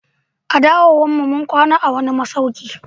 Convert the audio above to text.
A dawowan mu, mun kwana a'wani masauki.